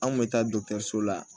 An kun bɛ taa dɔkitɛriso la